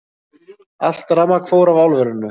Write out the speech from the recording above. Allt rafmagn fór af álverinu